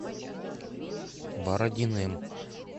бородиным